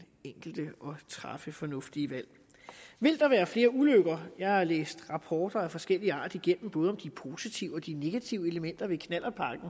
enkelte at træffe fornuftige valg vil der være flere ulykker jeg har læst rapporter af forskellig art igennem om både de positive og de negative elementer ved knallertpakken